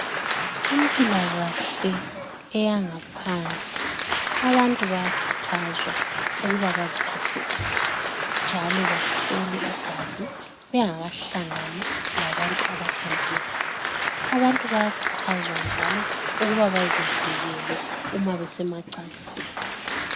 Kumpilakahle eyangaphansi, abantu bayakhuthazwa ukuba baziphathe kuhle, njalo bahlolwe igazi bengakahlangani labantu abathandana labo. Abantu bayakhuthazwa njalo ukuba bazivikele uma besemacansini.